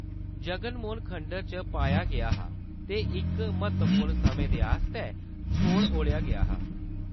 जगन मोहन खंडर च पाया गेआ हा ते इक महत्वपूर्ण समें दे आस्तै छोड़ ओड़ेआ गेआ हा।